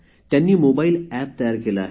त्यांनी mobile app तयार केले आहे